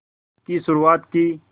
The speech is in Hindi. की शुरुआत की